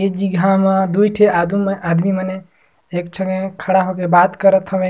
ए जिगह म दुई ठे आगु म आदमी मने एक ठने खड़ा हो के बात करा थवे।